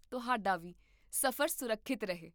ਤੁਹਾਡਾ ਵੀ ਸਫ਼ਰ ਸੁਰੱਖਿਅਤ ਰਹੇ